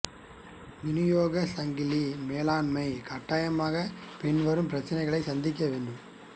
விநியோகச் சங்கிலி மேலாண்மை கட்டாயமாக பின்வரும் பிரச்சினைகளை சந்திக்க வேண்டும்